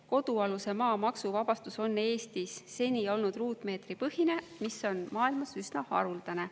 Kodualuse maa maksuvabastus on Eestis seni olnud ruutmeetripõhine, mis on maailmas üsna haruldane.